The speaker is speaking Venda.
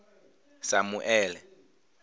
samuele